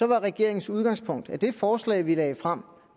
var regeringens udgangspunkt at det forslag vi lagde frem